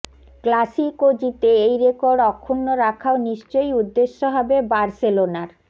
Clasico জিতে এই record অক্ষুণ্ণ রাখাও নিশ্চয়ই উদ্দেশ্য হবে বার্সেলোনার